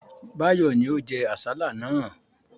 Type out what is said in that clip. Báyọ̀ ni ó jẹ àsálà náà.